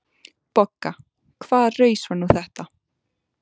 BOGGA: Hvaða raus var nú þetta?